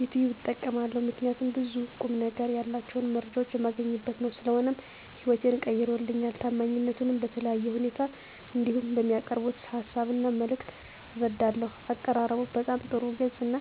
ዩቲብ እጠቀማለሁ ምከንያቱም ብዙ ቁምነገር ያላቸውን መረጃ የማገኝበት ነው። ስለሆነም ህይወቴን ቀይሮልኛል። ታማኝነቱንም በተለያየ ሁኔታ እንዲሁም በሚያቀርቡት ሀሳብ እና መልክት እረዳለሁ። አቀራረቡም በጣም ጥሩ ግልፅ እና